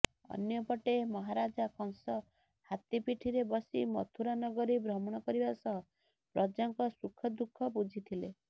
ଅନ୍ୟପଟେ ମହାରାଜା କଂସ ହାତୀ ପିଠିରେ ବସି ମଥୁରା ନଗରୀ ଭ୍ରମଣ କରିବା ସହ ପ୍ରଜାଙ୍କ ସୁଖଦୁଃଖ ବୁଝିଥିଲେ